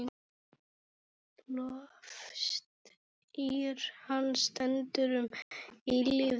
Lofstír hans stendur um eilífð.